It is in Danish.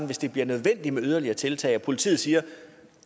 hvis det bliver nødvendigt med yderligere tiltag og politiet siger at